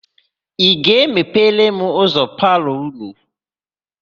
Ị ga-epere m ụzọ palọ ụnụ?